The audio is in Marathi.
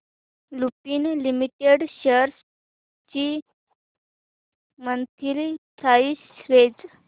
लुपिन लिमिटेड शेअर्स ची मंथली प्राइस रेंज